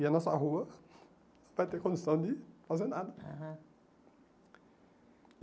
E a nossa rua vai ter condição de fazer nada. Ah